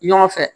Ɲɔgɔn fɛ